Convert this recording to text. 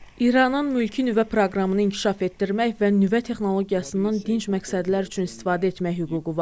İranın mülki nüvə proqramını inkişaf etdirmək və nüvə texnologiyasından dinc məqsədlər üçün istifadə etmək hüququ var.